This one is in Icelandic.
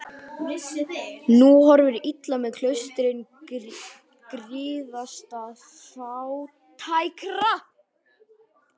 Nú horfir illa með klaustrin griðastað fátækra.